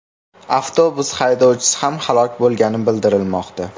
Avtobus haydovchisi ham halok bo‘lgani bildirilmoqda.